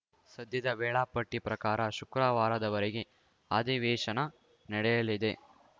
ಸದ್ಯದ ವೇಳಾಪಟ್ಟಿಪ್ರಕಾರ ಶುಕ್ರವಾರದವರೆಗೆ ಅಧಿವೇಶನ ನಡೆಯಲಿದೆ